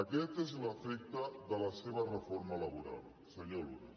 aquest és l’efecte de la seva reforma laboral senyor luna